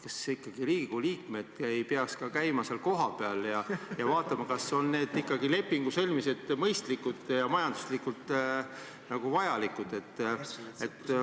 Kas ikkagi Riigikogu liikmed ei peaks ka käima seal kohapeal ja vaatama, kas nende lepingute sõlmimised on ikkagi mõistlikud ja majanduslikult vajalikud?